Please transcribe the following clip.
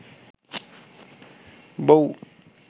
বৌ